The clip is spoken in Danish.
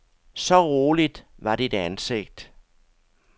Så roligt var dit ansigt.